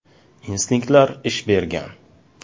Instinktlar ish bergan.